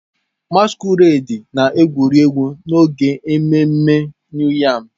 Masquerades na-egwuri egwu n'oge ememme New yam.